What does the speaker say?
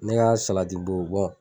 Ne y'a salati dow bɔ